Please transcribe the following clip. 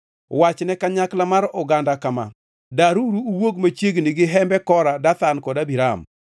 “Wachne kanyakla mar oganda kama: ‘Daruru uwuog machiegni gi hembe Kora, Dathan kod Abiram.’ ”